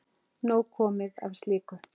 Nóg komið af slíku.